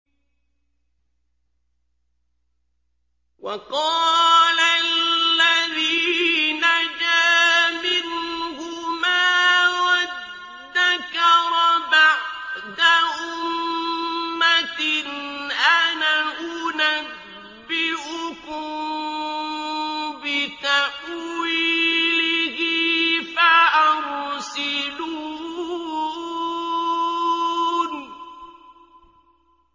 وَقَالَ الَّذِي نَجَا مِنْهُمَا وَادَّكَرَ بَعْدَ أُمَّةٍ أَنَا أُنَبِّئُكُم بِتَأْوِيلِهِ فَأَرْسِلُونِ